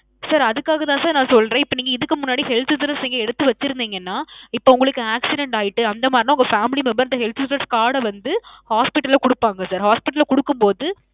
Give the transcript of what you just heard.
sir அதுக்காக தான் sir நான் சொல்றேன். இப்போ நீங்க இதுக்கு முன்னாடி health insurance நீங்க எடுத்து வச்சிருந்தீங்கனா, இப்போ உங்களுக்கு accident அயிட்டு அந்தமாறினா உங்க family member ட health insurance card அ வந்து hospital ல குடுப்பாங்க sir. hospital ல குடுக்கும் பொது